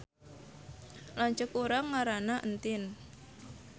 Lanceuk urang ngaranna Entin